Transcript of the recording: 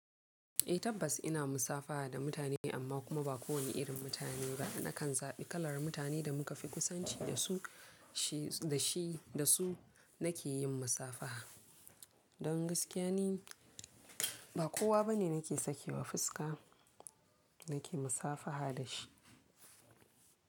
Eh tabbas ina musafaha da mutane amma kuma ba kowane irin mutane ba. Nakan zaɓi kalar mutane da muka fi kusanci da su, shi da shi, da su nake yin musafaha. Don gaskiya ne ba kowa bane nake sakewa fuska nake musafaha da shi.